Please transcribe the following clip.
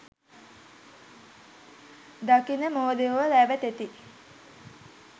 දකින මෝඩයෝ රැවටෙති.